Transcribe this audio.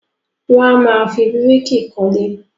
Won amáa fi bíríkì kólé.